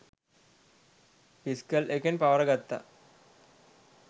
fiscal එකෙන් පවරගත්ත